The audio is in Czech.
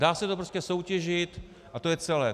Dá se to prostě soutěžit a to je celé.